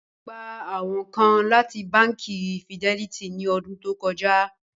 Wọn gbà awọn kàn láti bánkì Fidelity ní ọ̀dún tó kọ́já